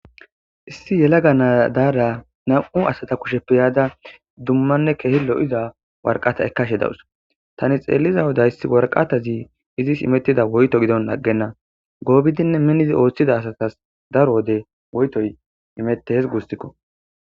issi yelaga naadaara nam7u asata kushep peyaada dummanne kehi lo7iza warqata ekkashe dawus tani xeelliza wodayssi warqatazi izis imettida woyto gidon aggenna goobidinne minizi ooththida asatas daro wode woytoy imette hes guustikko